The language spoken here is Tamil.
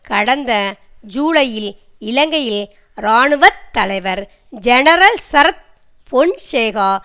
கடந்த ஜூலையில் இலங்கையில் இராணுவ தலைவர் ஜெனரல் சரத் பொன்சேகா